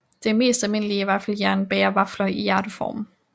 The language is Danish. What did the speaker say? Det mest almindelige vaffeljern bager vafler i hjerteform